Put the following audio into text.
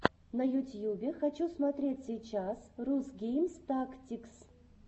на ютьюбе хочу смотреть сейчас рус гейм тактикс